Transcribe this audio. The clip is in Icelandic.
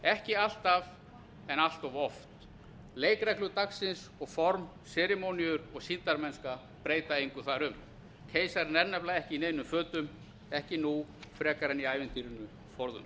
ekki alltaf en allt of oft leikreglur dagsins og formaður seremóníur og sýndarmennska breyta engu þar um keisarinn er nefnilega ekki í neinum fötum ekki nú frekar en í ævintýrinu forðum